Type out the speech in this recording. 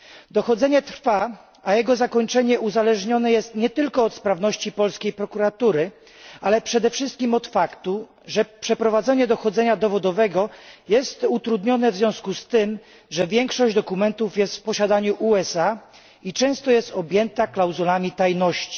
Dochodzenie trwa, a jego zakończenie uzależnione jest nie tylko od sprawności polskiej prokuratury, ale przede wszystkim od faktu, że przeprowadzenie dochodzenia dowodowego jest utrudnione w związku z tym, że większość dokumentów jest w posiadaniu USA i często jest objęta klauzulą tajności.